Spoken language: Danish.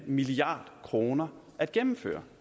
milliard kroner at gennemføre